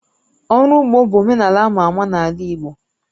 Ụrọ ugbo bụ omenala ama ama n'ala Igbo